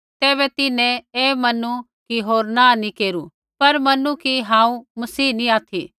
तैबै तिन्हैं ऐ मनू कि होर नाँह नैंई केरू पर मनू कि हांऊँ मसीह नी ऑथि